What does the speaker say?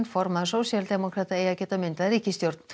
formaður sósíaldemókrata eigi að geta myndað ríkisstjórn